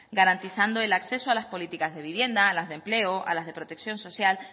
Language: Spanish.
garantizando el acceso a las políticas de vivienda a las de empleo a las de protección social